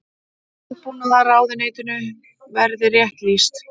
Landbúnaðarráðuneytinu verið rétt lýst.